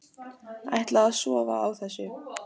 Ætla að sofa á þessu